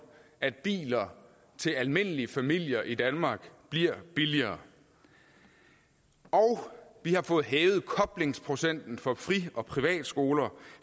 at biler til almindelige familier i danmark bliver billigere og vi har fået hævet koblingsprocenten for fri og privatskoler